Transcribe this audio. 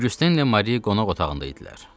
Oqüstenlə Mari qonaq otağında idilər.